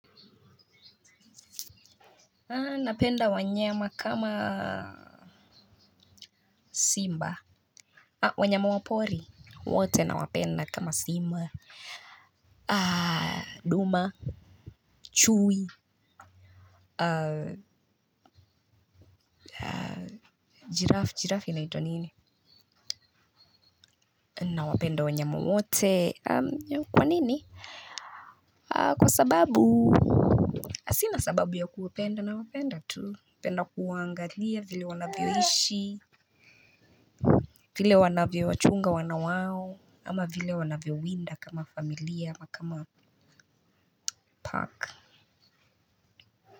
Napenda wanyama kama simba. Wanyama wa pori wote nawapenda kama simba, duma, chui Giraffe, giraffe inaitwa nini? Nawapenda wanyama wote. Kwa nini? Kwa sababu sina sababu ya kuwapenda nawapenda tu, napenda kuwaangalia vile wanavyoishi, vile wanavyowachunga wana wao, ama vile wanavyowinda kama familia ama kama pack.